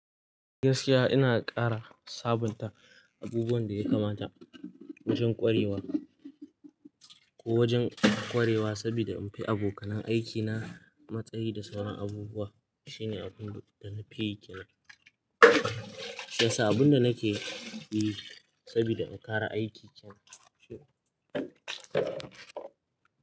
Gaskiya ina ƙara sabunta abubuwan da ya kamata wajen ƙwarewa ko wajen ƙwarewa saboda in fi abokanan aikina matsayi da sauran abubuwa. Shi ne abun da nafi yi kenan, shiyasa abun da nake yi saboda in ƙara aikin kenan.